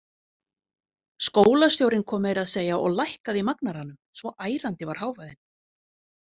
Skólastjórinn kom meira að segja og lækkaði í magnaranum, svo ærandi var hávaðinn.